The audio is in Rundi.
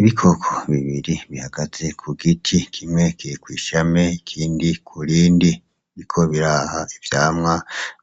Ibikoko bibiri bihagaze ku giti kimwe kiri kw'ishami ikindi ku rindi biriko biraha ivyamwa